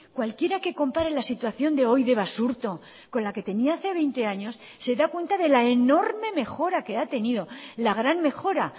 cualquiera que compare la situación de hoy de basurto con la que tenía hace veinte años se da cuenta de la enorme mejora que ha tenido la gran mejora